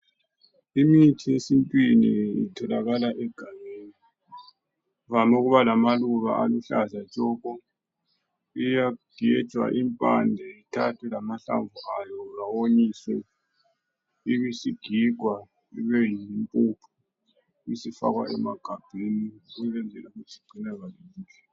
Imithi yesintwini itholakala egangeni, ivame ukuba lamaluba aluhlaza tshoko. Iyagenjwa impande ithathwe lahlamvu ayo awonyiswe, ibisigigwa ibeyimpuphu, ibisifakwa emagabheni ukwenzela ukuthi igcinakale kuhle.